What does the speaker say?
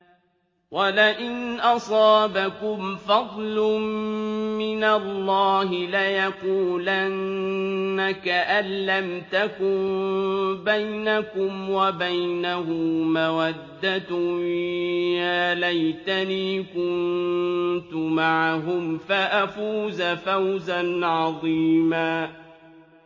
وَلَئِنْ أَصَابَكُمْ فَضْلٌ مِّنَ اللَّهِ لَيَقُولَنَّ كَأَن لَّمْ تَكُن بَيْنَكُمْ وَبَيْنَهُ مَوَدَّةٌ يَا لَيْتَنِي كُنتُ مَعَهُمْ فَأَفُوزَ فَوْزًا عَظِيمًا